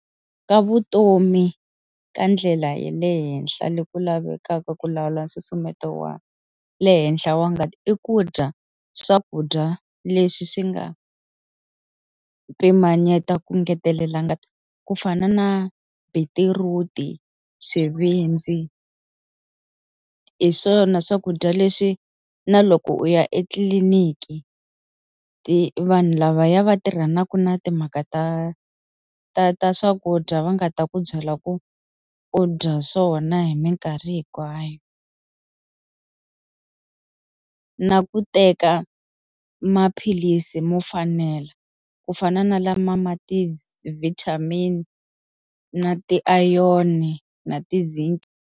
Ka vutomi ka ndlela ya le henhla loku lavekaka ku lawula nsusumeto wa le henhla wa ngati i ku dya swakudya leswi swi nga pimanyeta ku ngetelela ngati. Ku fana na beetroot-i, xivindzi, hi swona swakudya leswi na loko u ya etliliniki vanhu lavaya va tirhanaka na timhaka ta ta ta swakudya va nga ta ku byela ku u dya swona hi minkarhi hinkwayo. Na ku teka maphilisi mo fanela, ku fana na lama ma ti-vitamin na ti-iron na ti-zinc.